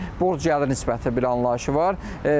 Yəni borc gəlir nisbəti bir anlayışı var.